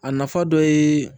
A nafa dɔ ye